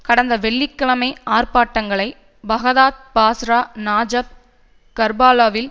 கடந்த வெள்ளி கிழமை ஆர்ப்பாட்டங்களை பாக்தாத் பாஸ்ரா நஜாப் கர்பலாவில்